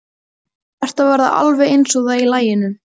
Þú ert að verða alveg eins og það í laginu.